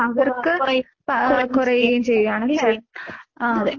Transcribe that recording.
കൊറാ കൊറയുകയും കൊറയുകയും അതെ.